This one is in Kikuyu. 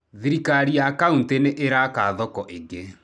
Thirikari ya kauntĩ nĩ ĩraaka thoko ĩngĩ.